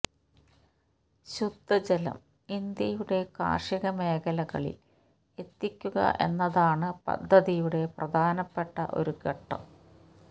ശുദ്ധജലം ഇന്ത്യയുടെ കാര്ഷിക മേഖലകളില് എത്തിക്കുക എന്നതാണ് പദ്ധതിയുടെ പ്രധാനപ്പെട്ട ഒരു ഘട്ടം